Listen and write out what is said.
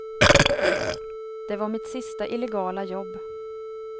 Det var mitt sista illegala jobb.